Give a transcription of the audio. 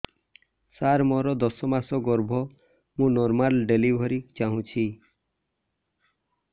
ସାର ମୋର ଦଶ ମାସ ଗର୍ଭ ମୁ ନର୍ମାଲ ଡେଲିଭରୀ ଚାହୁଁଛି